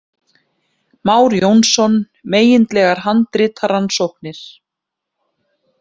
Már Jónsson, Megindlegar handritarannsóknir